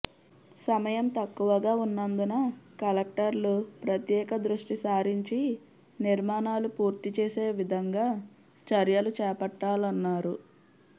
సమయం తక్కువగా ఉన్నందున కలెక్టర్లు ప్రత్యేక దృష్టిసారించి నిర్మాణాలు పూర్తిచేసే విధంగా చర్యలు చేపట్టాలన్నారు